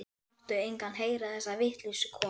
Láttu engan heyra þessa vitleysu, kona.